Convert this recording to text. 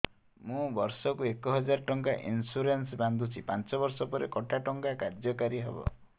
ମୁ ବର୍ଷ କୁ ଏକ ହଜାରେ ଟଙ୍କା ଇନ୍ସୁରେନ୍ସ ବାନ୍ଧୁଛି ପାଞ୍ଚ ବର୍ଷ ପରେ କଟା ଟଙ୍କା କାର୍ଯ୍ୟ କାରି ହେବ